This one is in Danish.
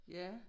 Ja